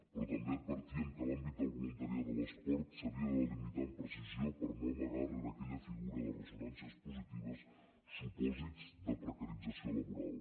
però també advertíem que l’àmbit del voluntariat a l’esport s’havia de delimitar amb precisió per no amagar rere aquella figura de ressonàncies positives supòsits de precarització laboral